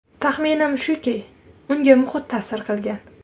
Taxminim shuki, unga muhit ta’sir qilgan.